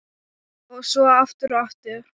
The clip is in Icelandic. Og svo aftur og aftur.